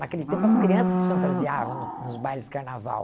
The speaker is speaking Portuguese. Naquele tempo, as crianças se fantasiavam no nos bailes de carnaval.